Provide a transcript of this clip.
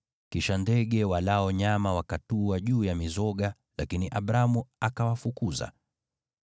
Kisha ndege walao nyama wakatua juu ya mizoga, lakini Abramu akawafukuza.